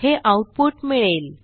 हे आऊटपुट मिळेल